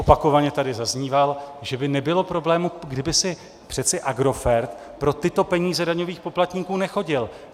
Opakovaně tady zaznívalo, že by nebylo problému, kdyby si přece Agrofert pro tyto peníze daňových poplatníků nechodil.